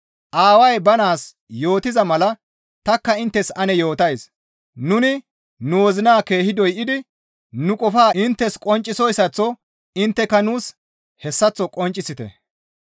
Aaway ba naas yootiza mala tanikka inttes ane yootays; nuni nu wozina keehi doydi nu qofaa inttes qonccisoyssaththo intteka nuus hessaththo qonccisite.